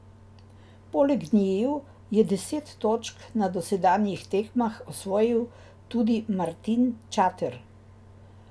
Poleg njiju je deset točk na dosedanjih tekmah osvojil tudi Martin Čater.